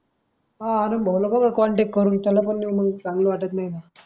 आनंद भाऊला बघा कॉन्टॅक्ट करून त्याला पण नेऊ चांगलं वाटत नाही.